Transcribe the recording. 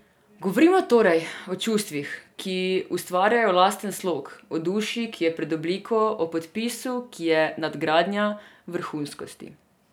Govorimo, torej, o čustvih, ki ustvarjajo lasten slog, o duši, ki je pred obliko, o podpisu, ki je nadgradnja vrhunskosti.